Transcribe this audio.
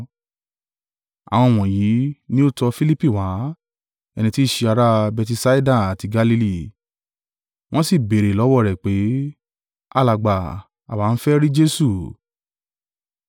Àwọn wọ̀nyí ni ó tọ Filipi wá, ẹni tí í ṣe ará Betisaida tí Galili, wọ́n sì ń béèrè lọ́wọ́ rẹ̀, pé, “Alàgbà, àwa ń fẹ́ rí Jesu!”